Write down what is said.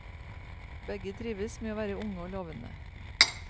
Begge trives med å være unge og lovende.